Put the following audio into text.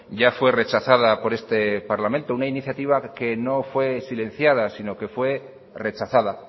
ya fue rechazada por este parlamento una iniciativa que no fue silenciada sino que fue rechazada